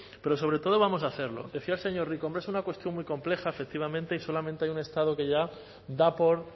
pero sobre todo vamos a hacerlo decía el señor rico hombre es una cuestión muy compleja efectivamente y solamente hay un estado que ya da por